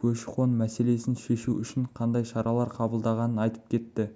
көші-қон мәселесін шешу үшін қандай шаралар қабылдағанын айтып кетті